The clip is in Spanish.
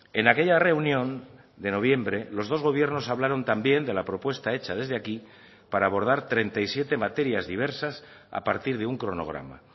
en aquella reunión de noviembre los dos gobiernos hablaron también de la propuesta hecha desde aquí para abordar treinta y siete materias diversas a partir de un cronograma